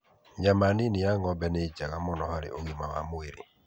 Nyama nini ya ng'ombe nĩ njega mũno harĩ ũgima wa mwĩrĩ.